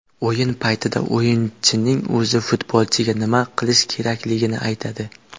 O‘yin paytida o‘yinchining o‘zi futbolchiga nima qilish kerakligini aytadi.